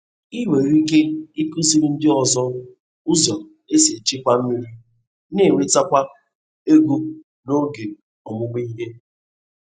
Ị nwere ike ịkụziri ndị ọzọ ụzọ esi echekwa mmiri n'enwetakwa ego n’oge ọmụmụ ihe.